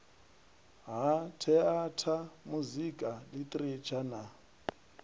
ha theatha muzika ḽitheretsha na